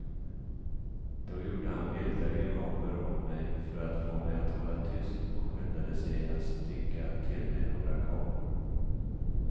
Då gjorde han vilda grimaser åt mig för att få mig att hålla tyst och skyndade sig att sticka till mig några kakor.